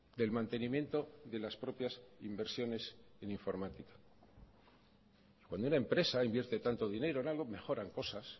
del mantenimiento de las propias inversiones en informática cuando una empresa invierte tanto dinero en algo mejoran cosas